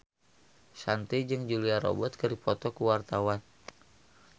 Shanti jeung Julia Robert keur dipoto ku wartawan